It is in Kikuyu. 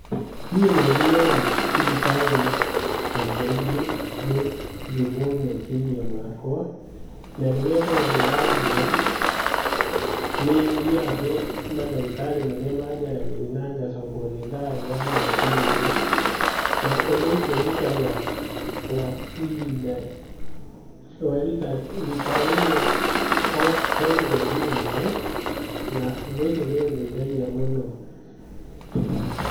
Niĩ nĩthiaga thibitarĩ kaingaingĩ gũthimwo meciiria makwa. Narĩrĩa hena ũndũ ũrangia . Nĩthiaga kũĩ madagitarĩ marĩa majaragĩria na ngacokwo nĩ thaũ wa meciria. Naũndũ ũcio njĩkaga kwa ihinda rĩa rita rĩmwe he mweri ũmwe. Na ũndũ ũcio nĩũdeithagia mũno.